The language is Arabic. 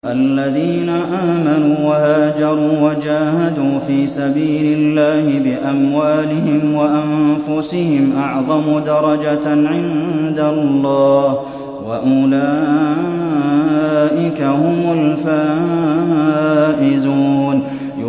الَّذِينَ آمَنُوا وَهَاجَرُوا وَجَاهَدُوا فِي سَبِيلِ اللَّهِ بِأَمْوَالِهِمْ وَأَنفُسِهِمْ أَعْظَمُ دَرَجَةً عِندَ اللَّهِ ۚ وَأُولَٰئِكَ هُمُ الْفَائِزُونَ